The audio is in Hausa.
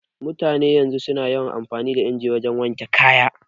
Mutanen yanzu su na amfani da inji wajen wanke kaya